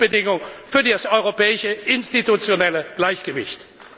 Das ist eine Grundbedingung für das europäische institutionelle Gleichgewicht.